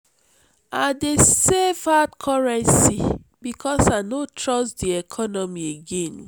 i dey save for hard currency because i no trust di economy.